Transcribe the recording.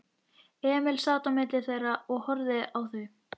Emil sat á milli þeirra og horfði á þau.